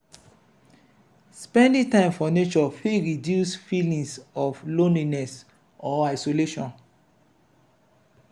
spending time for nature fit reduce feelings of loneliness or isolation.